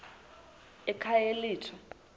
ekhayelitsha